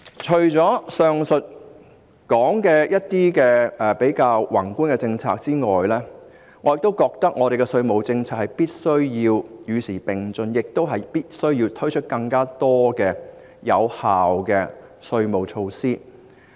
除了上述的一些較宏觀的政策之外，我覺得本港的稅務政策必須與時並進，亦必須推出更多有效的稅務措施。